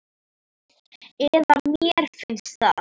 Eða mér finnst það.